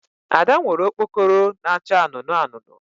Ada nwere okpokoro na-acha anụnụ anụnụ